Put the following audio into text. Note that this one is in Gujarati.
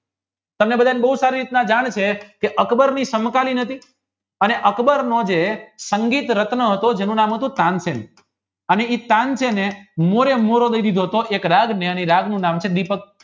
તમે બધાએ બહુ સારી રીતના જાણ્યું છે જે અકબરની સંતાડી નથી અને જે અકબર જે સંગીત રનત હતો જેનું નામ હતું તાનસેન અને જે એ તન છે ને મોરે મોરો એક રાજ નું એનું નામ છે દિપક